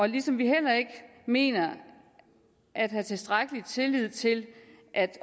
ligesom vi heller ikke mener at have tilstrækkelig tillid til at